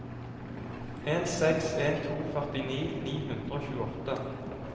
en seks en to førtini ni hundre og tjueåtte